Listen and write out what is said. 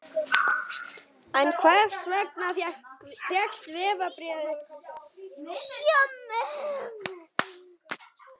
En hvers vegna fékkst vegabréfið ekki endurnýjað?